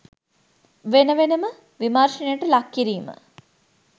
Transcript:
වෙන වෙනම විමර්ශනයට ලක් කිරීම